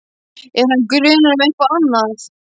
Er hann grunaður um eitthvað annað?